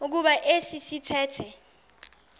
kuba esi sithethe